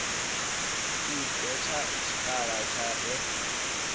i dadze tshikhala tshi re